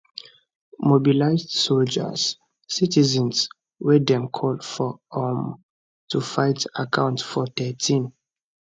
mobilised soldiers citizens wey dem call up um to fight account for 13